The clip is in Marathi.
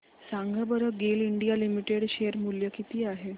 सांगा बरं गेल इंडिया लिमिटेड शेअर मूल्य किती आहे